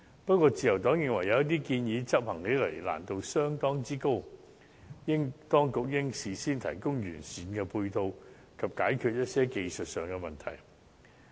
不過，自由黨認為，有些建議執行的難度相當之高，當局應事先提供完善配套，以及解決一些技術問題。